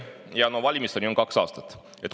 Ja valimisteni on kaks aastat.